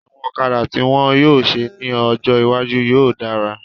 Àwọn ọ̀kadà tí wọ́n yóò ṣe ní ọjọ́ iwájú yóò dára